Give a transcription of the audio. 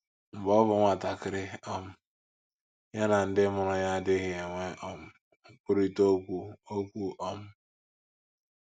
Mgbe ọ bụ nwatakịrị um, ya na ndị mụrụ ya adịghị enwe um nkwurịta okwu okwu. um